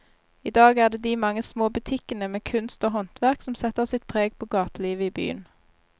I dag er det de mange små butikkene med kunst og håndverk som setter sitt preg på gatelivet i byen.